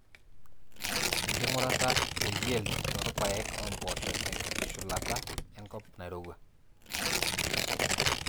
enkingurata e yield toorpaek ompoosho te nkitushulata nkop nairowua.